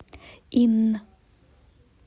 инн